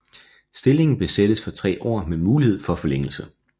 Stillingen besættes for tre år med mulighed for forlængelse